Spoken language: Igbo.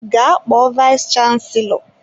Gaa kpọọ vayis chansilọ!